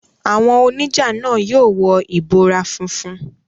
Àwọn oníjà náà yóò wọ ìbora funfun.